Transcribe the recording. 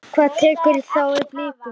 Hver tekur þá við Blikum?